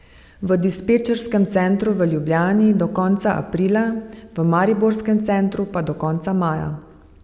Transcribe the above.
V dispečerskem centru v Ljubljani do konca aprila, v mariborskem centru pa do konca maja.